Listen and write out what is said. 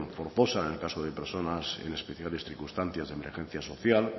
forzosa en el caso de personas en especiales circunstancias de emergencia social